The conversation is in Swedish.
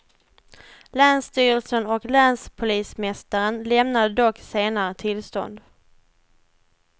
Länsstyrelsen och länspolismästaren lämnade dock senare tillstånd.